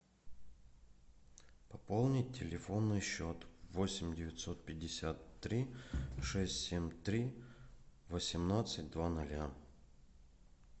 пополнить телефонный счет восемь девятьсот пятьдесят три шесть семь три восемнадцать два ноля